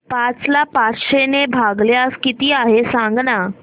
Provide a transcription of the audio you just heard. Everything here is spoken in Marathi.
पाच ला पाचशे ने भागल्यास किती आहे सांगना